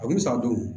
A bɛ san duuru